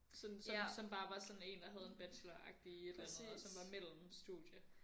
Sådan som som bare var sådan en der havde en bachelor agtig i et eller andet og som var mellem studie